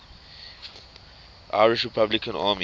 irish republican army